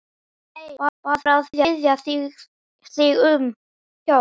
Nei, bara að biðja þig um hjálp.